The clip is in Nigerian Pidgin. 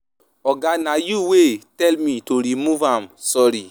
Oga, na you wey tell me to remove am, sorry.